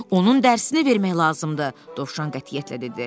Onun dərsini vermək lazımdır, Dovşan qətiyyətlə dedi.